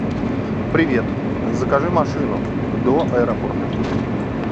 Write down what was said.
привет закажи машину до аэропорта